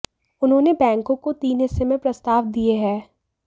उन्होंने बैंकों को तीन हिस्से में प्रस्ताव दिये हैं